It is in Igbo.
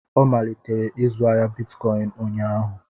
Ọ malitere ịzụ ahịa bitcọịn ụnyaahụ.